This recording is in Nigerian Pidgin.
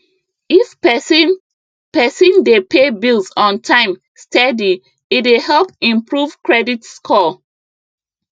if person person dey pay bills on time steady e dey help improve credit score